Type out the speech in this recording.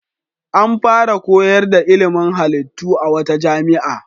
An fara koyar da ilimin halittu a wata jami'a.